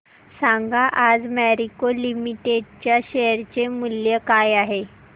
सांगा आज मॅरिको लिमिटेड च्या शेअर चे मूल्य काय आहे